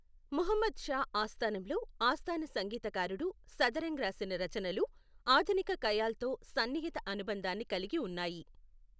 ముహమ్మద్ షా ఆస్థానంలో ఆస్థాన సంగీతకారుడు సదరంగ్ రాసిన రచనలు ఆధునిక ఖయాల్తో సన్నిహిత అనుబంధాన్ని కలిగి ఉన్నాయి.